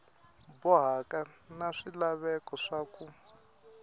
bohaka na swilaveko swa ku